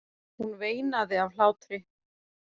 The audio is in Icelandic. Hún veinaði af hlátri.